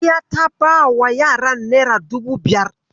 Sadiya ta bawa yaran nera dubu biyar.